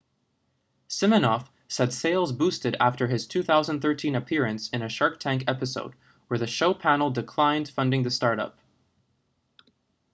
siminoff said sales boosted after his 2013 appearance in a shark tank episode where the show panel declined funding the startup